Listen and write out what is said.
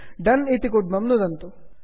दोने डन् इत्यत्र नुदन्तु